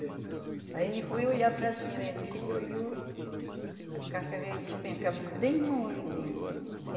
Aí ele foi olhar para cima e assim que ele olhou, a casca veio despencar bem no olho dele.